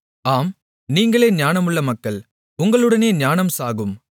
ஆம் நீங்களே ஞானமுள்ள மக்கள் உங்களுடனே ஞானம் சாகும்